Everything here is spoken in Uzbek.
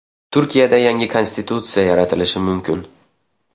Turkiyada yangi konstitutsiya yaratilishi mumkin.